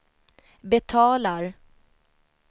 betalar